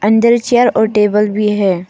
अंदर चेयर और टेबल भी है।